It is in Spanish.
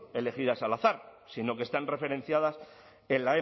elegidos al azar sino que están referenciadas en